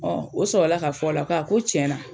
o sɔrɔla ka f'ɔ la k'a ko tiɲɛna